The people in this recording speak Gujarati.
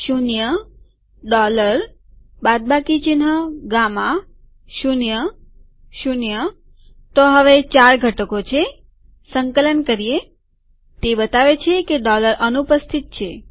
શૂન્યડોલર બાદબાકી ચિહ્ન ગામાશૂન્યશૂન્યતો હવે ચાર ઘટકો છેસંકલન કરીએતે બતાવે છે કે ડોલર અનુપસ્થિત છે